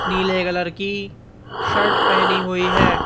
नीले कलर की शर्ट पहनी हुई है।